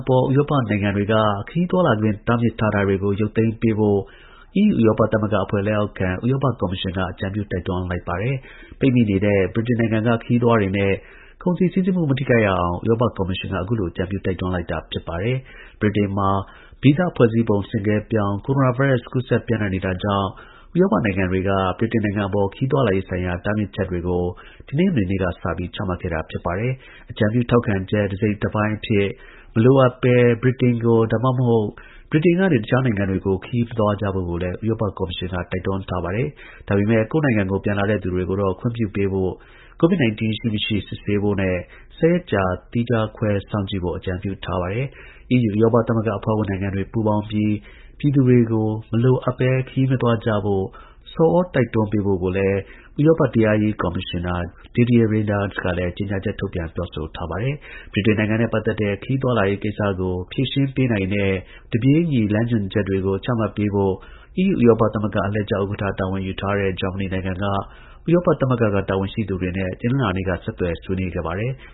ပေါ် ဥရောပနိုင်ငံတွေက ခရီးသွားလာခွင့် တားမြစ်ထားတာတွေကို ရုပ်သိမ်းပေးဖို့ ဥရောပကော်မရှင်က အကြံပြုတိုက်တွန်းလိုက်ပါတယ်။ ပိတ်မိနေတဲ့ ဗြိတိန်နိုင်ငံက ခရီးသွားတွေနဲ့ ကုန်စည်စီးဆင်းမှု မထိခိုက်အောင်EU ဥရောပသမဂ္ဂအဖွဲ့ လက်အောက်ခံ ဥရောပကော်မရှင်က အခုလိုအကြံပြုတိုက်တွန်းလိုက်တာပါ။ ဗြိတိန်မှာ ဗီဇဖွဲ့စည်းပုံ ဆင့်ကဲပြောင်း ကိုရိုနာဗိုင်းရပ်စ် ကူးစက်ပျံ့နှံ့နေတာကြောင့် ဥရောပနိုင်ငံတွေက ဗြိတိန်အပေါ် ခရီးသွားလာရေးဆိုင်ရာ တားမြစ်ချက်တွေကို တနင်္ဂနွေနေ့ကစပြီး ချမှတ်ခဲ့တာပါ။ အကြံပြုထောက်ခံချက် တစိတ်တပိုင်းအဖြစ် မလိုအပ်ဘဲ ဗြိတိန်ကို ဒါမှမဟုတ် ဗြိတိန်ကနေ တခြားနိုင်ငံတွေကို ခရီးမသွားကြဖို့ကိုလည်း ဥရောပကော်မရှင်က တိုက်တွန်းထားပါတယ်။ ဒါပေမဲ့ ကိုယ့်နိုင်ငံကို ပြန်လာတဲ့သူတွေကိုတော့ ဝင်ခွင့်ပြုဖို့၊ COVID-19 ရှိ၊ မရှိ စစ်ဆေးဖို့နဲ့ ၁၀ ရက်သီးခြားခွဲစောင့်ကြည့်ဖို့ အကြံပြုထားပါတယ်။ EU ဥရောပသမဂ္ဂအဖွဲ့ဝင်နိုင်ငံတွေ ပူးပေါင်းပြီး ပြည်သူတွေကို မလိုအပ်ဘဲ ခရီးမသွားကြဖို့ ဆော်ဩတိုက်တွန်းပေးဖို့ ဥရောပ တရားရေးကော်မရှင်နာ Didier Reynders ကလည်းကြေညာချက်ထုတ်ပြန်ပြောဆိုထားပါတယ်။ ဗြိတိန်နိုင်ငံနဲ့ပတ်သက်တဲ့ ခရီးသွားလာရေးကိစ္စကို ဖြေရှင်းပေးနိုင်တဲ့ တစ်ပြေးညီ လမ်းညွှန်သတ်မှတ်ချက်တွေကို ချမှတ်ပေးဖို့ EU ဥရောပသမဂ္ဂ အလှည့်ကျ ဥက္ကဌ တာဝန်ယူထားတဲ့ ဂျာမနီနိုင်ငံက ဥရောပသမဂ္ဂက တာဝန်ရှိသူတွေနဲ့ တနင်္လာနေ့က ဆက်သွယ်ဆွေးနွေးခဲ့ပါတယ်။